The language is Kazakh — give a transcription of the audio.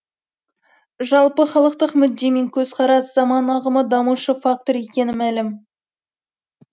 жалпыхалықтық мүдде мен көзқарас заман ағымы дамушы фактор екені мәлім